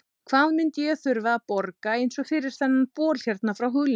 Hvað myndi ég þurfa að borga eins og fyrir þennan bol hérna frá Hugleiki?